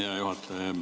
Hea juhataja!